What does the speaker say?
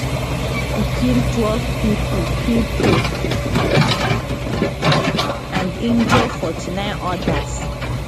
e kill twelve pipo pipo and injure 49 odas